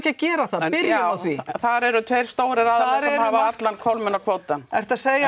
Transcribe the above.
að gera það byrjum á því þar eru tveir stórir aðilar sem hafa allan hólminn og kvótann ertu að segja að